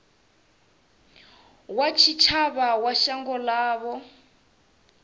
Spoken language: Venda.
wa tshitshavha wa shango ḽavho